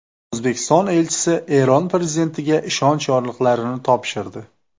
O‘zbekiston elchisi Eron prezidentiga ishonch yorliqlarini topshirdi.